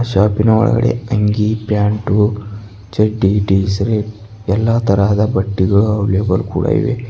ಶಾಪಿ ನ ಒಳಗಡೆ ಅಂಗಿ ಪ್ಯಾಂಟು ಚಡ್ಡಿ ಟೀಶರ್ಟ್ ಎಲ್ಲಾ ತರಹದ ಬಟ್ಟೆಗಳು ಅವೈಲೇಬಲ್ ಕೂಡ ಇವೆ.